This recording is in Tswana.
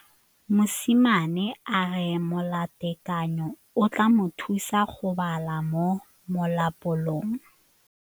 Mosimane a re molatekanyô o tla mo thusa go bala mo molapalong.